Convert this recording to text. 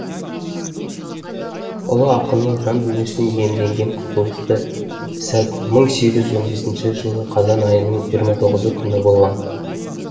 ұлы ақынның жан дүниесін иемденген құбылысты сәт мың сегіз жүз он бесінші жылы қазан айының жиырма тоғызыншы күні болған